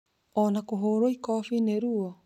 o na kũhũũrwo ikofi nĩ ruo?